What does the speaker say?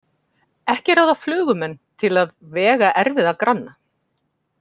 Ekki ráða flugumenn til að vega erfiða granna.